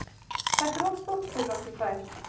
Þetta er of stórt fyrir okkur tvær.